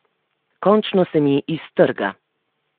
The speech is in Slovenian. Končno se mi iztrga.